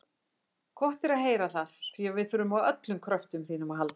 Gott er að heyra það, því við þurfum á öllum kröftum þínum að halda.